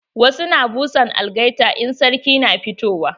Wasu na busa algaita in sarki na fitowa.